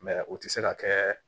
o tɛ se ka kɛ